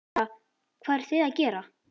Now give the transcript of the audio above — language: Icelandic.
Maður er bara, hvað eruð þið að gera?